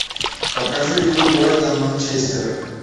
покажи игру брайтон манчестер